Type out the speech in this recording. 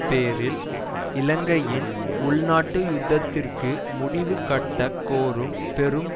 பேரில் இலங்கையின் உள்நாட்டு யுத்தத்திற்கு முடிவுகட்டக் கோரும் பெரும்